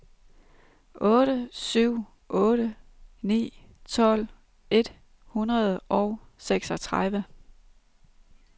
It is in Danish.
otte syv otte ni tolv et hundrede og seksogtredive